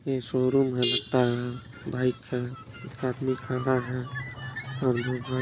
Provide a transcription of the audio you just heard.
ये शोरूम है लगता है बाइक है आदमी खड़ा है।